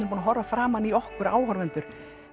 búnir að horfa framan í okkur áhorfendur